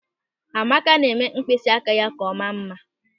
Amaka na-eme mkpịsị aka ya ka ọ maa mma.